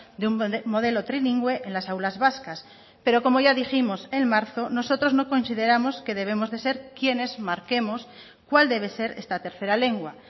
de un modelo trilingüe en las aulas vascas pero como ya dijimos en marzo nosotros no consideramos que debemos de ser quienes marquemos cuál debe ser esta tercera lengua